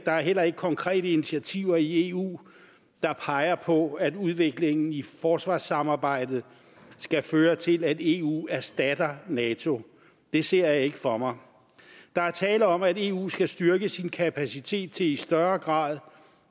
er heller ikke konkrete initiativer i eu der peger på at udviklingen i forsvarssamarbejdet skal føre til at eu erstatter nato det ser jeg ikke for mig der er tale om at eu skal styrke sin kapacitet til i større grad